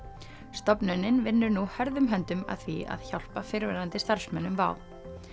stofnunin vinnur nú hörðum höndum að því að hjálpa fyrrverandi starfsmönnum WOW